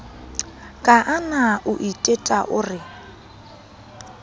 kaana o iteta o re